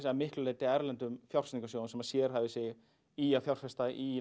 að miklu leyti erlendum fjárfestingarsjóðum sem að sérhæfa sig í að fjárfesta í